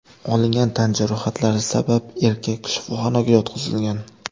Olingan tan jarohatlari sabab erkak shifoxonaga yotqizilgan.